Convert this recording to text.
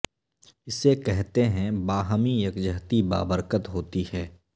اسے کہتے ہیں باہمی یکجہتی با برکت ہوتی ہے